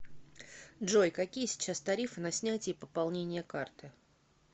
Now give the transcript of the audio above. джой какие сейчас тарифы на снятие и пополнение карты